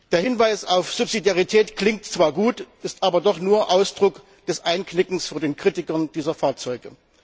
Der Hinweis auf Subsidiarität klingt zwar gut, ist aber doch nur Ausdruck des Einknickens vor den Kritikern dieser Fahrzeuge.